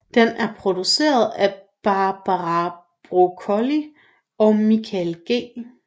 Den er produceret af Barbara Broccoli og Michael G